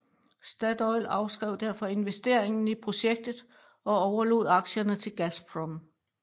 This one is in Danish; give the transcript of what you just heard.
Statoil afskrev derfor investeringen i projektet og overlod aktierne til Gazprom